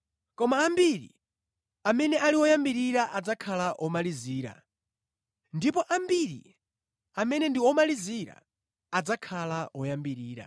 Koma ambiri amene ali oyambirira adzakhala omalizira, ndipo ambiri amene ndi omalizira adzakhala oyambirira.”